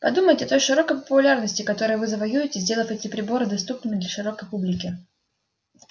подумайте о той широкой популярности которую вы завоюете сделав эти приборы доступными для широкой публики